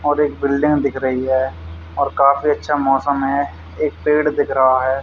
और एक बिल्डिंग दिख रही है और काफी अच्छा मौसम है एक पेड़ दिख रहा है।